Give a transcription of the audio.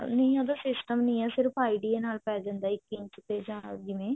ਪਾਉਣਾ ਜਿਵੇਂ ਉਹਦਾ system ਨਹੀ ਹੈ ਸਿਰਫ idea ਨਾਲ ਪਾਈ ਜਾਂਦਾ ਇੱਕ ਇੰਚ ਤੇ ਜਾਂ ਜਿਵੇਂ